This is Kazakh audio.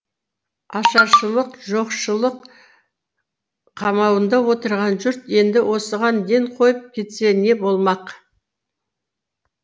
ашаршылық жоқшылық қамауында отырған жұрт енді осыған ден қойып кетсе не болмақ